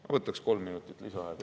Ma võtaks kolm minutit juurde.